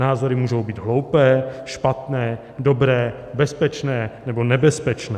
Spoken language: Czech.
Názory můžou být hloupé, špatné, dobré, bezpečné nebo nebezpečné.